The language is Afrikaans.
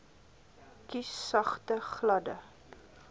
kies sagte gladde